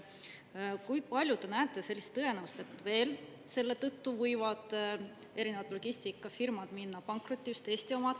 Kui palju te näete sellist tõenäosust, et veel selle tõttu võivad erinevad logistikafirmad minna pankrotti, just Eesti omad?